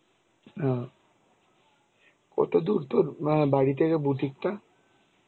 ওহ. কত দূর দূর বাড়ি থেকে বুটিকটা?